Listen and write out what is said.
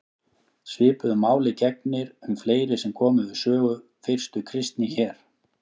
Svipuðu máli gegnir um fleiri sem komu við sögu fyrstu kristni hér.